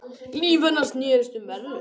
Líf hennar snerist um verðlaun.